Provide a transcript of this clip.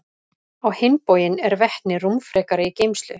Á hinn bóginn er vetni rúmfrekara í geymslu.